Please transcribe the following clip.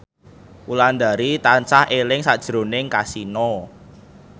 Wulandari tansah eling sakjroning Kasino